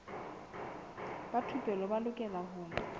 ba thupelo ba lokela ho